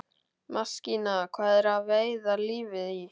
Maskína til að veiða lífið í.